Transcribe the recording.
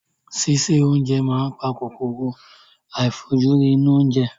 Síse oúnjẹ máa ń pa kòkòrò àìfojúrí inú oúnjẹ.